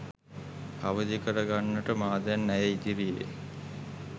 අවදි කර ගන්නට මා දැන් ඇය ඉදිරියේ